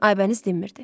Aybəniz dinmirdi.